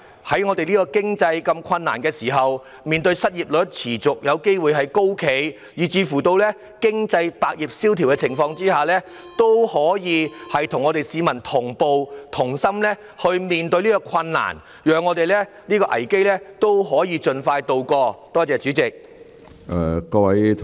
在我們的經濟如此困難，在面對失業率有機會持續高企，以及百業蕭條的情況下，政府須與市民同步及同心面對，讓我們可以盡快渡過這個危機。